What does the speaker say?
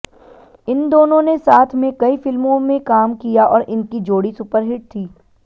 इन दोनों ने साथ में कई फिल्मों में काम किया और इनकी जोड़ी सुपरहिट थी